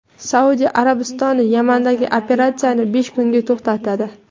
Saudiya Arabistoni Yamandagi operatsiyani besh kunga to‘xtatadi.